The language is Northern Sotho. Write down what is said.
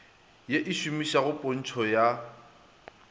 ye e šomegago pntšho ya